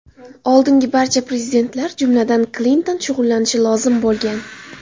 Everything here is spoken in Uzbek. Oldingi barcha prezidentlar, jumladan, Klinton shug‘ullanishi lozim bo‘lgan.